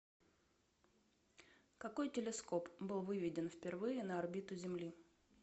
какой телескоп был выведен впервые на орбиту земли